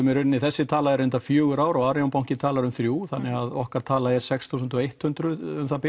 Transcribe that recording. þessi tala er reyndar fjögur ár og arionbanki talar um þrjá þannig að okkar tala er sex þúsund hundrað um það bil